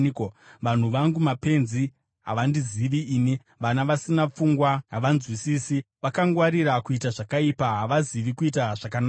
“Vanhu vangu mapenzi; havandizivi ini. Vana vasina pfungwa; havanzwisisi. Vakangwarira kuita zvakaipa; havazivi kuita zvakanaka.”